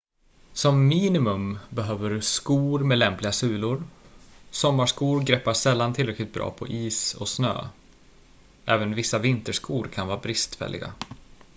som minimum behöver du skor med lämpliga sulor sommarskor greppar sällan tillräckligt bra på is och snö även vissa vinterskor kan vara bristfälliga